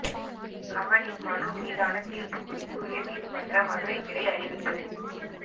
கமலின் மனு மீதான தீர்ப்பு குறித்து உயர்நீதிமன்ற மதுரை கிளை அறிவிப்பு